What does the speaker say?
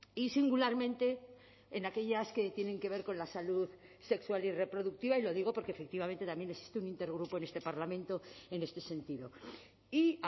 y singularmente en aquellas que tienen que ver con la salud sexual y reproductiva y lo digo porque efectivamente también existe un intergrupo en este parlamento en este sentido y